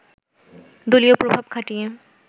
দলীয় প্রভাব খাটিয়ে